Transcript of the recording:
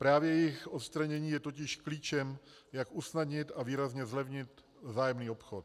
Právě jejich odstranění je totiž klíčem, jak usnadnit a výrazně zlevnit vzájemný obchod.